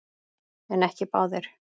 En ekki báðir.